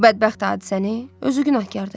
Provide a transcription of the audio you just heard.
Bu bədbəxt hadisəni, özü günahkardır.